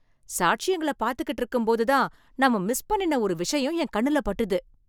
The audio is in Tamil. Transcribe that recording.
சாட்சியங்கள பாத்துக்கிட்டு இருக்கும்போதுதான் நாம மிஸ் பண்ணின ஒரு விஷயம் என் கண்ணுல பட்டுது.